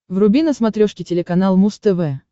вруби на смотрешке телеканал муз тв